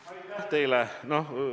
Aitäh teile!